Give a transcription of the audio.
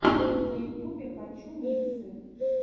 на ютубе хочу миксы